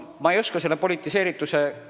Ma ei oska selle politiseerituse kohta midagi öelda.